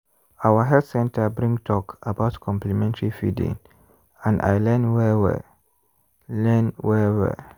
our health center bring talk about complementary feeding and i learn well well. learn well well.